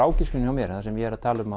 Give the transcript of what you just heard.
ágiskun hjá mér það sem ég er að tala um